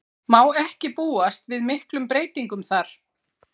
Má ekki búast við miklum breytingum þar?